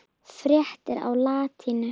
Fréttir á latínu